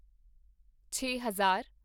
ਛੇ ਹਜ਼ਾਰ